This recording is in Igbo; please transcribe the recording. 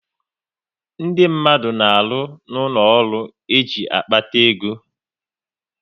Ndị mmadụ na arụ n'ụlọ ọrụ e ji kpata ego